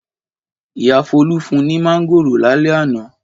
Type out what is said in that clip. Ìyá Folú fún un ní mángòrò lálẹ́ àná.